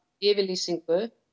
yfirlýsingu